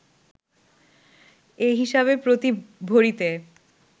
এ হিসাবে প্রতি ভরিতে